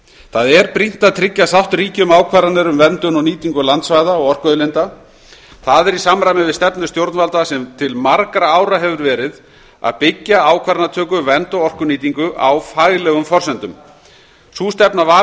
það er brýnt að tryggja að sátt ríki um ákvarðanir um verndun og nýtingu landsvæða og orkuauðlinda það er í samræmi við stefnu stjórnvalda sem til margra ára hefur verið að byggja ákvarðanatöku vernd og orkunýtingu á faglegum forsendum sú stefna var